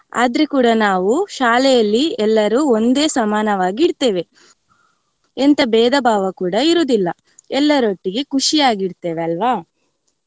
ಆದ್ರು ಕೂಡಾ ನಾವ್ ಶಾಲೆಯಲ್ಲಿ ಎಲ್ಲರೂ ಒಂದೇ ಸಮಾನವಾಗಿರ್ತೆವೆ ಎಂತ ಬೇದ ಭಾವ ಕೂಡಾ ಇರುದಿಲ್ಲ ಎಲ್ಲರೊಟ್ಟಿಗೆ ಖುಷಿಯಾಗಿರ್ತೆವೆ ಅಲ್ವಾ.